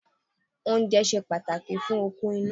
Oúnjẹ ṣe pàtàkì fún okun inú.